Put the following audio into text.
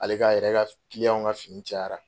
Ale k'a yɛrɛ ka kiliyanw ka fini cayara